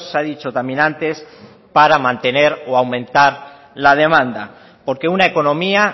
ha dicho también antes para mantener o aumentar la demanda porque una economía